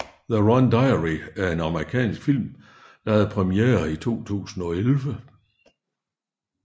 The Rum Diary er en amerikansk film der have premiere i 2011